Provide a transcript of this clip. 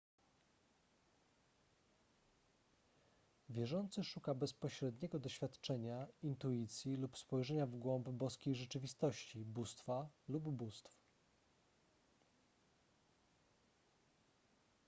wierzący szuka bezpośredniego doświadczenia intuicji lub spojrzenia w głąb boskiej rzeczywistości / bóstwa lub bóstw